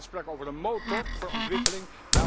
De commissaris sprak over een motor voor ontwikkeling.